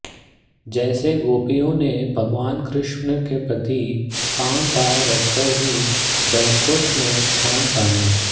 जैसे गोपियों ने भगवान कृष्ण के प्रति काम भाव रखकर ही बैकुंठ में स्थान पाया